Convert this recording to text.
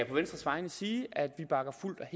på venstres vegne sige at vi bakker fuldt og